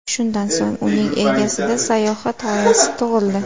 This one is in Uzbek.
Shundan so‘ng uning egasida sayohat g‘oyasi tug‘ildi.